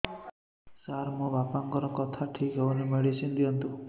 ସାର ମୋର ବାପାଙ୍କର କଥା ଠିକ ହଉନି ମେଡିସିନ ଦିଅନ୍ତୁ